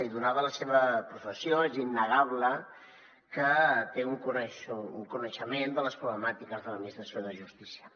i donada la seva professió és innegable que té un coneixement de les problemàtiques de l’administració de justícia